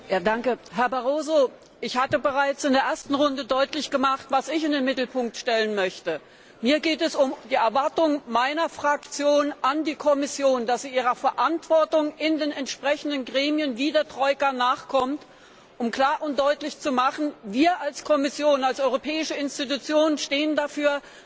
Herr Präsident! Herr Barroso, ich hatte bereits in der ersten Runde deutlich gemacht, was ich in den Mittelpunkt stellen möchte. Mir geht es um die Erwartung meiner Fraktion an die Kommission, dass sie ihrer Verantwortung in den entsprechenden Gremien wie der Troika nachkommt, um klar und deutlich zu machen Wir als Kommission, als europäische Institution stehen dafür,